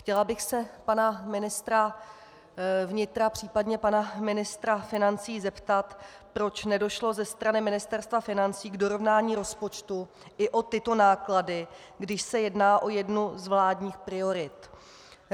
Chtěla bych se pana ministra vnitra, případně pana ministra financí zeptat, proč nedošlo ze strany Ministerstva financí k dorovnání rozpočtu i o tyto náklady, když se jedná o jednu z vládních priorit.